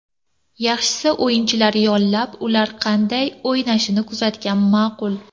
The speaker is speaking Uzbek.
Yaxshisi o‘yinchilar yollab, ular qanday o‘ynashini kuzatgan ma’qul.